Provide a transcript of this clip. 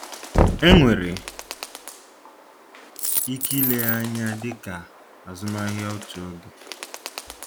Enwere ike ile ya anya dị ka azụmahịa otu oge.